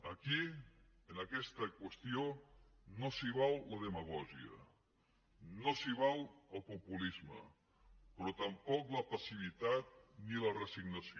aquí en aquesta qüestió no s’hi val la demagògia no s’hi val el populisme però tampoc la passivitat ni la resignació